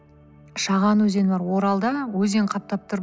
шаған өзені бар оралда өзен қаптап тұр